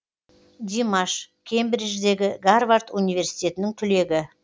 димаш кембридждегі гарвард университетінің түлегі